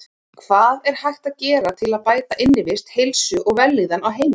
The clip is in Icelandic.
Hvað er hægt að gera til að bæta innivist, heilsu og vellíðan á heimilum?